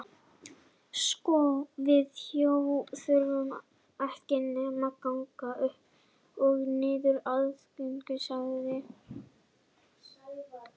Sko við Jói þurfum ekki nema að ganga upp og niður aðalgötuna sagði